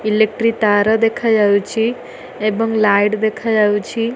Electric ତାର ଦେଖାଯାଉଚି ଏବଂ ଲାଇଟ୍ ଦେଖାଯାଉଚି।